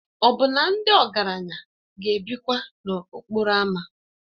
Ọbụna ndị ọgaranya ga-ebikwa n'okporo ámá